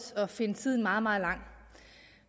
og finde tiden meget meget lang